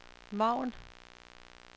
margen